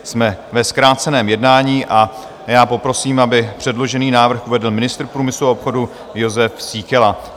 Jsme ve zkráceném jednání a já poprosím, aby předložený návrh uvedl ministr průmyslu a obchodu Jozef Síkela.